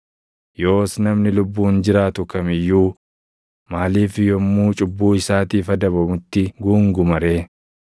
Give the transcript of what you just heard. Yoos namni lubbuun jiraatu kam iyyuu maaliif yommuu cubbuu isaatiif // adabamutti guunguma ree?